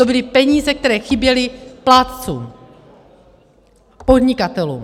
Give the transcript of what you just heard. To byly peníze, které chyběly plátcům, podnikatelům.